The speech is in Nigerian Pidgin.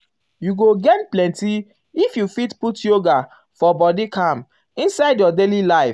you um um go gain plenty if you fit put yoga for um body calm inside your daily life.